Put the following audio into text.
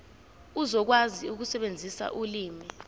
uzokwazi ukusebenzisa ulimi